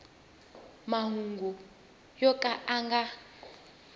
mahungu yo ka ya nga